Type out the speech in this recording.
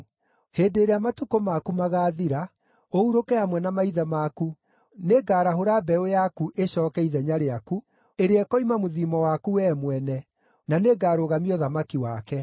Hĩndĩ ĩrĩa matukũ maku magaathira, ũhurũke hamwe na maithe maku, nĩngarahũra mbeũ yaku ĩcooke ithenya rĩaku, ĩrĩa ĩkoima mũthiimo waku wee mwene, na nĩngarũgamia ũthamaki wake.